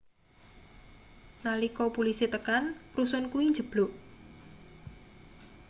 nalika pulisi tekan rusun kuwi njebluk